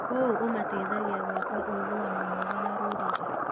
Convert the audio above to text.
ũũ ũmateithagia gwaka ũiguano mwega na rũrĩrĩ.